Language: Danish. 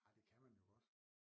Ej det kan man jo godt